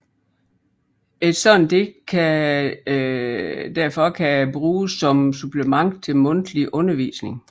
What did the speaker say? Et sådant digt derfor kan bruges som supplement til mundtlig undervisning